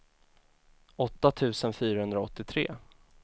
åtta tusen fyrahundraåttiotre